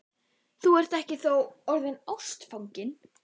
Þú ert þó ekki orðinn ástfanginn?